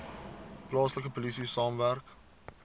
plaaslike polisie saamwerk